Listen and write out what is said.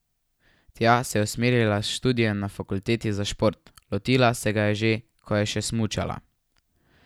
Tja se je usmerila s študijem na fakulteti za šport, lotila se ga je že, ko je še smučala.